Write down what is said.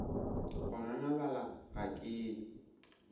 go ngangabala ga ke ye